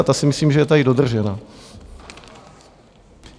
A ta si myslím, že je tady dodržena.